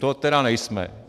To tedy nejsme!